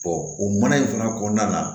o mana in fana kɔnɔna na